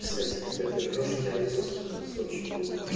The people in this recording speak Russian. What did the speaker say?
кстати когда ты ржёшь у тебя лицо становится очень глупое